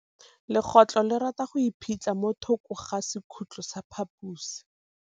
Legôtlô le rata go iphitlha mo thokô ga sekhutlo sa phaposi.